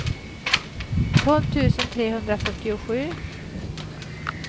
tolv tusen trehundrafyrtiosju